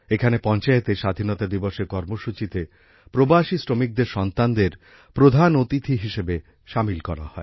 এখানে পঞ্চায়েতে স্বাধীনতা দিবসের কর্মসূচীতে প্রবাসী শ্রমিকদের সন্তানদের প্রধান অতিথি হিসাবে সামিল করা হয়